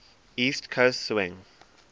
east coast swing